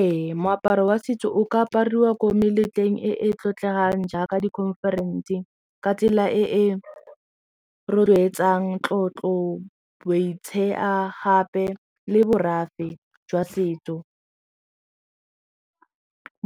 Ee moaparo wa setso o ka apariwa ko meletlong e e tlotlegang jaaka di-conference ka tsela e e rotloetsang tlotlo gape le borafe jwa setso